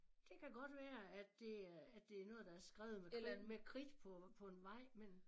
Det kan godt være at det er at det noget der er skrevet med kridt med kridt på en vej